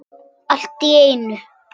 Allt í einu.